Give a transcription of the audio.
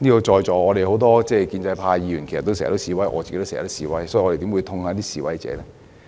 在座很多建制派議員經常示威，我自己亦經常示威，所以我們怎會痛恨示威者呢？